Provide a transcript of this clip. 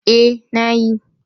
Eh, na yi